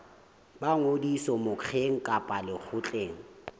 ba ngodiso mokgeng kapa lekgotleng